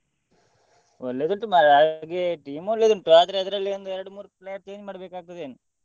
ಒಳ್ಳೆದುಂಟು ಮಾರ್ರೆ ಹಾಗಾಗಿ team ಒಳ್ಳೆದುಂಟು ಆದ್ರೆ ಅದ್ರಲ್ಲಿ ಒಂದೆರಡು ಮೂರು player change ಮಾಡ್ಬೇಕಾಗ್ತದೆ ಏನೋ?